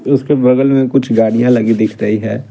उसके बगल में कुछ गाड़ियां लगी दिख रही है।